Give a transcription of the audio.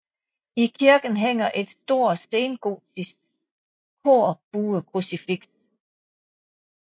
I kirken hænger et stort sengotisk korbuekrucifiks